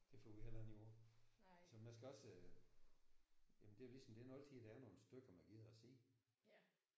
Det får vi heller ikke gjort. Så man skal også. Jamen det er ligesom det er ikke altid der er nogle stykker man gider at se